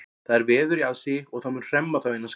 Það er veður í aðsigi og það mun hremma þá innan skamms.